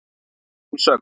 Að eigin sögn.